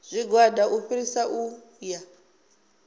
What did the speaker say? tshigwada u fhirisa u ya